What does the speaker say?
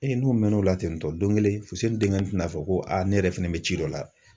Ee n'o mɛnn'o la ten tɔ don kelen Fuseni denkɛnin tɛna fɔ ko ne yɛrɛ fɛnɛ bɛ ci dɔ la.